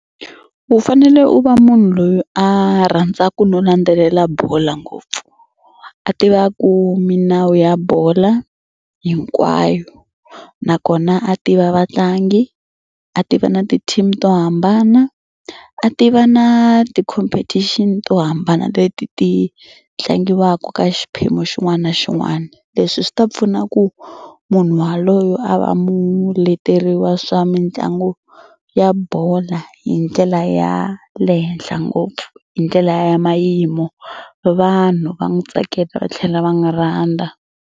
U fanele u va munhu loyi a rhandzaka no landzelela bolo ngopfu. A tivaku milawu ya bola hinkwayo nakona a tiva vatlangi, a tiva na ti-team to hambana, a tiva na ti-competition to hambana leti ti tlangiwaka ka xiphemu xin'wana na xin'wana. Leswi swi ta pfuna ku munhu waloyo a va muleteri wa swa mitlangu ya bola hi ndlela ya le henhla ngopfu hi ndlela ya mayimo vanhu va n'wi tsakela va tlhela va n'wi rhandza.